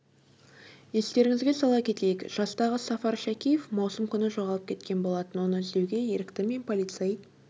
естеріңізге сала кетейік жастағы сафар шәкеев маусым күні жоғалып кеткен болатын оны іздеуге ерікті мен полицей